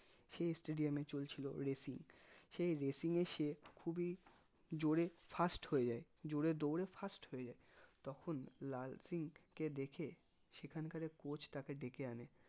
সেই stadium এ চলছিল racing সেই racing এ সে খুবই জোরে first হয়ে যাই জোরে দৌড়ে first হয়ে যাই তখন লাল সিং কে দেখে সেখানকারে coach তাকে দেকে আনে